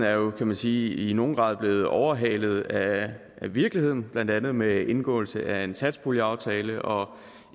er jo kan man sige i nogen grad blevet overhalet af virkeligheden blandt andet med indgåelse af en satspuljeaftale og